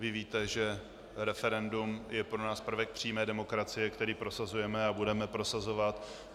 Vy víte, že referendum je pro nás prvek přímé demokracie, který prosazujeme a budeme prosazovat.